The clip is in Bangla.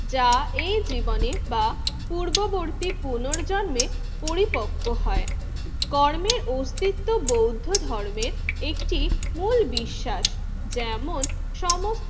যা এই জীবনে বা পূর্ববর্তী পুনর্জন্মে পরিপক্ক হয়। কর্মের অস্তিত্ব বৌদ্ধ ধর্মের একটি মূল বিশ্বাস যেমন সমস্ত